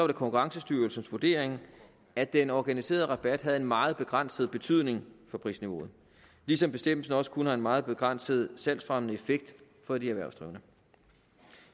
det konkurrencestyrelsens vurdering at den organiserede rabat havde en meget begrænset betydning for prisniveauet ligesom bestemmelsen også kun har en meget begrænset salgsfremmende effekt for de erhvervsdrivende